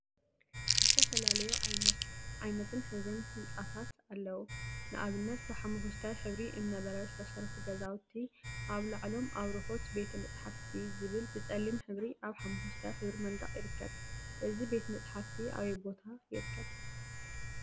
ዝተፈላለዩ ዓይነትነ ሕብሪን ህንፃታት አለው፡፡ ንአብነት ብሓመኩሽታይ ሕብሪ እምነበረድ ዝተሰርሑ ገዛውቲ አብ ላዕሎም አብርሆት ቤተ መጽሓፍቲ ዝብል ብፀሊም ሕብሪ አብ ሓመኩሽታይ ሕብሪ መንደቅ ይርከብ፡፡ እዚ ቤተ መፅሓፍቲ አበይ ቦታ ይርከብ?